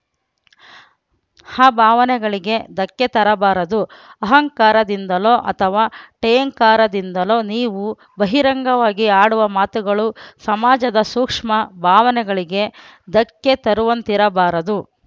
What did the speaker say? ಆ ಭಾವನಗೆಳಿಗೆ ಧಕ್ಕೆ ತರಬಾರದು ಆಹಂಕಾರದಿಂದಲೋ ಅಥವಾ ಠೇಂಕಾರದಿಂದಲೋ ನೀವು ಬಹಿರಂಗವಾಗಿ ಆಡುವ ಮಾತುಗಳು ಸಮಾಜದ ಸೂಕ್ಷ್ಮ ಭಾವನೆಗಳಿಗೆ ಧಕ್ಕೆ ತರುವಂತಿರಬಾರದು